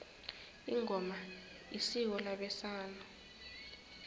ingoma isiko labesana